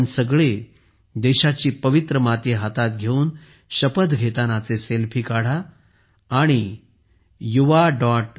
आपण सगळे देशाची पवित्र माती हातात घेऊन शपथ घेतानाचे सेल्फी काढा आणि yuva